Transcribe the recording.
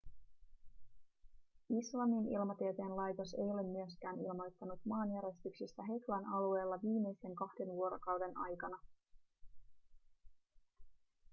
islannin ilmatieteen laitos ei ole myöskään ilmoittanut maanjäristyksistä heklan alueella viimeisten kahden vuorokauden aikana